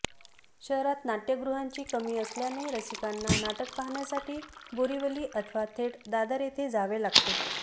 शहरात नाट्यगृहांची कमी असल्याने रसिकांना नाटक पाहण्यासाठी बोरिवली अथवा थेट दादर येथे जावे लागते